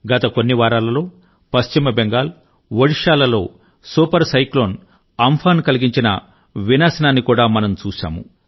గత కొన్ని వారాలలో పశ్చిమ బెంగాల్ ఒడిషా లలో సూపర్ సైక్లోన్ అమ్ఫాన్ కలిగించిన వినాశనాన్ని కూడా మనం చూశాము